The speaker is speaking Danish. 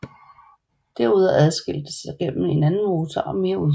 Derudover adskilte sig gennem en anden motor og mere udstyr